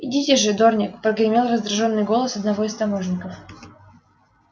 идите же дорник прогремел раздражённый голос одного из таможенников